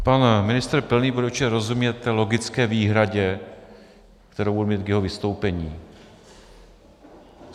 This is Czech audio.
Pan ministr Pilný bude určitě rozumět té logické výhradě, kterou budu mít k jeho vystoupení.